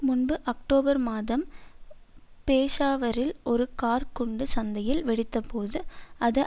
முன்பு அக்டோபர் மாதம் பேஷாவரில் ஒரு கார்க் குண்டு சந்தையில் வெடித்தபோது அது